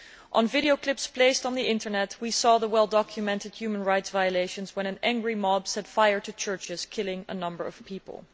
On video clips placed on the Internet we have seen well documented human rights violations when an angry mob set fire to churches, killing a number of people.